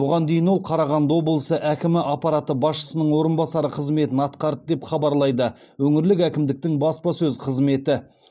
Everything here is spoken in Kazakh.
бұған дейін ол қарағанды облысы әкімі аппараты басшысының орынбасары қызметін атқарды деп хабарлайды өңірлік әкімдіктің баспасөз қызметі